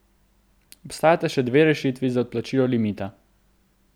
Obstajata še dve rešitvi za odplačilo limita.